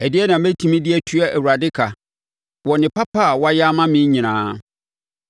Ɛdeɛn na mɛtumi de atua Awurade ka wɔ ne papa a wayɛ ama me nyinaa?